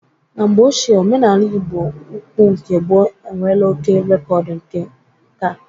Na mgbe ochie, omenala Ịgbo ukwu nke gboo enwela oké rekọdu nke nkà